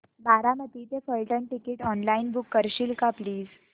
बारामती ते Phaltan ticket online book करशील का प्लीज